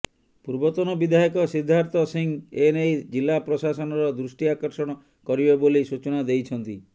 ପୂର୍ବତନ ବିଧାୟକ ସିଦ୍ଧାର୍ଥ ସିଂହ ଏ ନେଇ ଜିଲ୍ଲା ପ୍ରଶାସନର ଦୃଷ୍ଟି ଆକର୍ଷଣ କରିବେ ବୋଲି ସୂଚନା ଦେଇଛନ୍ତି